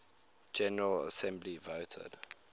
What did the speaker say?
general assembly voted